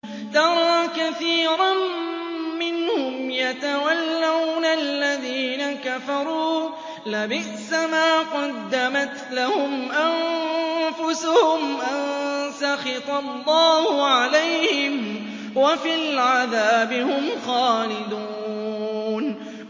تَرَىٰ كَثِيرًا مِّنْهُمْ يَتَوَلَّوْنَ الَّذِينَ كَفَرُوا ۚ لَبِئْسَ مَا قَدَّمَتْ لَهُمْ أَنفُسُهُمْ أَن سَخِطَ اللَّهُ عَلَيْهِمْ وَفِي الْعَذَابِ هُمْ خَالِدُونَ